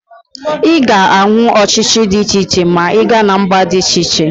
Ị ga-ahụ ọchịchị dị iche iche ma ị gaa na mba dị iche iche